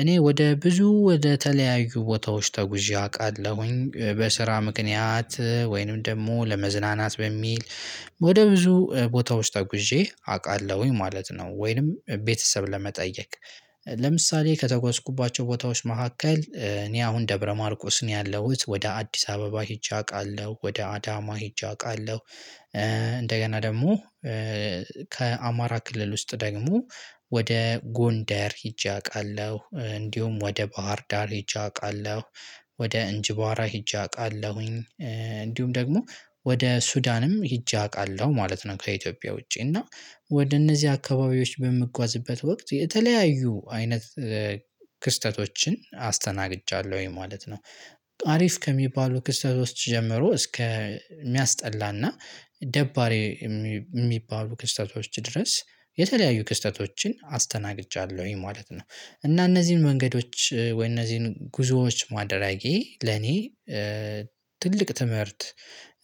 እኔ ወደ ብዙ ወደ ተለያዩ ቦታዎች ተጉዤ አውቃለሁኝ በስራ ምክንያት ወይንም ደግሞ ለመዝናናት በሚል ወደ ብዙ ቦታዎች ተጉዤ አውቃለሁኝ ማለት ነው። ወይንም ቤተሰብ ለመጠየቅ ለምሳሌ ከተጓዝኩባቸው ቦታዎች መካከል እኔ አሁን ደብረ ማርቆስ ነው ያለሁት ወደ አዲስ አበባ ሄጄ አውቃለሁ ወደ አዳማ ሄጄ አውቃለሁ። እንደገና ደግሞ ከአማራ ክልል ውስጥ ደግሞ ወደ ጎንደር ሄጄ አውቃለሁ እንዲሁም ወደ ባህርዳር ሄጄ አውቃለሁ። ወደ እንጅባራ ሄጄ አውቃለሁኝ እንዲሁም ደግሞ ወደ ሱዳንም ሄጄ አውቃለሁ ማለት ነው። ከኢትዮጵያ ውጪ እና ወደ እነዚህ አካባቢዎች በምጓዝበት ወቅት የተለያዩ አይነት ክስተቶችን አስተናግጃለሁኝ ማለት ነው። አሪፍ ከሚባሉ ክስተቶች ጀምሮ እስከ ሚያስጠላ እና ደባሪ የሚባሉ ክስተቶች ድረስ የተለያዩ ክስተቶችን አስተናግጃለሁኝ ማለት ነው። እና እነዚህን መንገዶች ወይ እነዚህን ጉዞዎች ማድረጌ ለኔ ትልቅ ትምህርት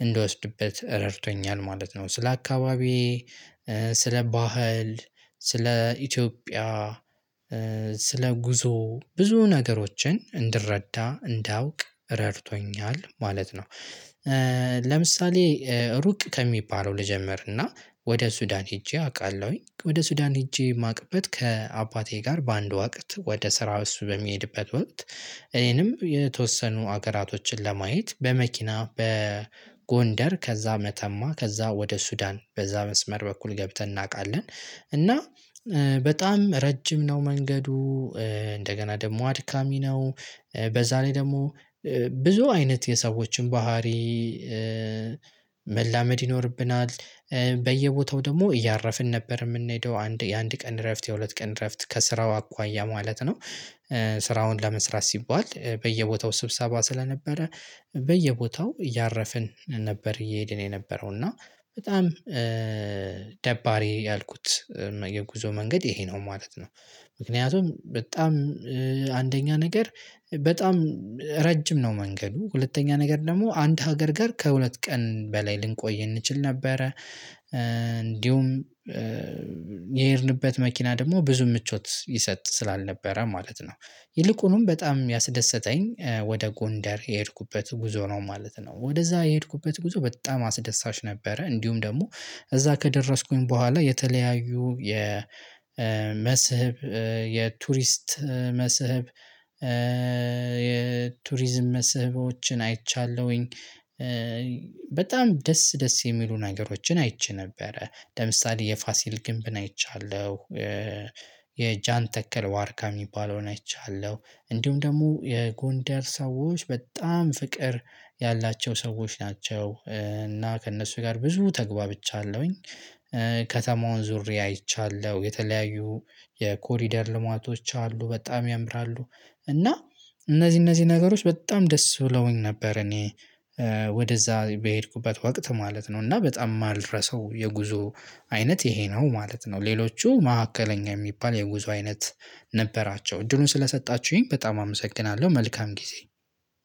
እንድወስድበት ረድቶኛል ማለት ነው። ስለ አካባቢዬ ስለ ባህል ስለ ኢትዮጵያ ስለ ጉዞ ብዙ ነገሮችን እንድረዳ እንዳውቅ ረድቶኛል ማለት ነው። ለምሳሌ ሩቅ ከሚባለው ልጀምር እና ወደ ሱዳን ሄጄ አውቃለሁኝ ወደ ሱዳን ሄጄ ማቅበት ከአባቴ ጋር በአንድ ወቅት ወደ ስራ እሱ በሚሄድበት ወቅት እኔንም የተወሰኑ ሀገራቶችን ለማየት በመኪና በጎንደር ከዛ መተማ ከዛ ወደ ሱዳን በዛ መስመር በኩል ገብተን እናውቃለን። እና በጣም ረጅም ነው መንገዱ። እንደገና ደግሞ አድካሚ ነው። በዛ ላይ ደግሞ ብዙ አይነት የሰዎችን ባህሪ መላመድ ይኖርብናል። በየቦታው ደግሞ እያረፍን ነበር የምንሄደው አንድ የአንድ ቀን እረፍት የሁለት ቀን እረፍት ከስራው አኳያ ማለት ነው። ስራውን ለመስራት ሲባል በየቦታው ስብሰባ ስለነበረ በየቦታው እያረፍን ነበር እየሄድን የነበረው እና በጣም ደባሪ ያልኩት የጉዞ መንገድ ይሄ ነው ማለት ነው። ምክንያቱም በጣም አንደኛ ነገር በጣም ረጅም ነው መንገዱ ሁለተኛ ነገር ደግሞ አንድ ሀገር ጋር ከሁለት ቀን በላይ ልንቆይ እንችል ነበረ። እንዲሁም የሄድንበት መኪና ደግሞ ብዙም ምቾት ይሰጥ ስላልነበረ ማለት ነው። ይልቁኑም በጣም ያስደሰተኝ ወደ ጎንደር የሄድኩበት ጉዞ ነው ማለት ነው። ወደዛ የሄድኩበት ጉዞ በጣም አስደሳች ነበረ እንዲሁም ደግሞ እዛ ከደረስኩኝ በኋላ የተለያዩ የመስህብ የቱሪስት መስህብ የቱሪዝም መስህቦችን አይቻለሁኝ። በጣም ደስ ደስ የሚሉ ነገሮችን አይቼ ነበረ ለምሳሌ የፋሲል ግንብን አይቻለሁ። የጃን ተከል ዋርካ የሚባለው አይቻለው። እንዲሁም ደግሞ የጎንደር ሰዎች በጣም ፍቅር ያላቸው ሰዎች ናቸው እና ከእነሱ ጋር ብዙ ተግባብቻለሁኝ። ከተማውን ዞሬ አይቻለሁ የተለያዩ የኮሪደር ልማቶች አሉ በጣም ያምራሉ። እና እነዚህ እነዚህ ነገሮች በጣም ደስ ብለውኝ ነበር። እኔ ወደዛ በሄድኩበት ወቅት ማለት ነው እና በጣም የማልረሳው የጉዞ አይነት ይሄ ነው ማለት ነው። ሌሎቹ መካከለኛ የሚባል የጉዞ አይነት ነበራቸው እድሉን ስለሰጣችሁኝ በጣም አመሰግናለሁ። መልካም ጊዜ